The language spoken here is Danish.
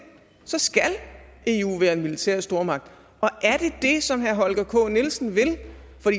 så skal eu være en militær stormagt og er det det som herre holger k nielsen vil